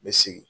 N bɛ segin